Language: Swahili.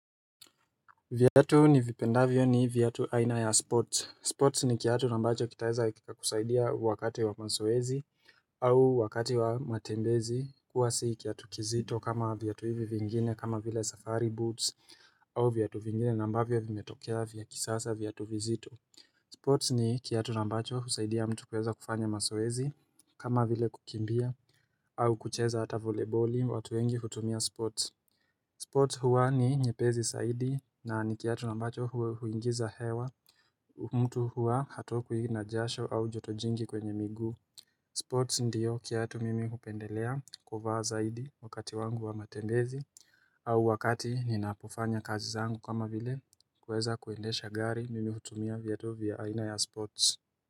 Vyatu ni vipendavyo ni vyatu aina ya sports. Sports ni kiatu na ambacho kitaeza kukusaidia wakati wa mazoezi au wakati wa matembezi. Kuwa si kiatu kizito kama vyatu hivi vingine kama vile safari boots au vyatu vingine na ambavyo vimetokea vya kisasa vyatu vizito. Sports ni kiatu na ambacho husaidia mtu kueza kufanya mazoezi kama vile kukimbia au kucheza hata voleboli watu wengi hutumia sports. Sports huwa ni nyepesi zaidi na nikiatu na ambacho huingiza hewa mtu huwa hatokwi na jasho au joto jingi kwenye miguu Sports ndiyo kiatu mimi hupendelea kuvaa zaidi wakati wangu wa matembezi au wakati ninapofanya kazi zangu kama vile kuweza kuendesha gari mimi hutumia vyatu vya aina ya sports.